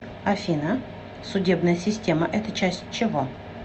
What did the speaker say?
афина судебная система это часть чего